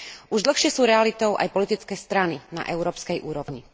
Už dlhšie sú realitou aj politické strany na európskej úrovni.